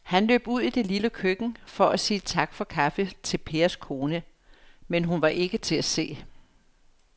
Han løb ud i det lille køkken for at sige tak for kaffe til Pers kone, men hun var ikke til at se.